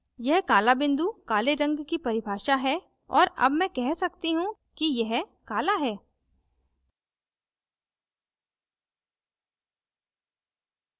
यह काला बिंदु काले रंग की परिभाषा है और मैं अब कह सकती हूँ कि यह काला है